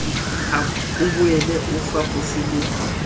o boele o fapose le